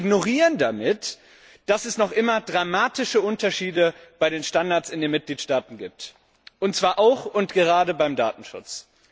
Sie ignorieren damit, dass es noch immer dramatische Unterschiede bei den Standards in den Mitgliedstaaten gibt, und zwar auch und gerade beim Datenschutz.